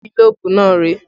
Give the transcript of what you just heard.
Gílóbú náà rèé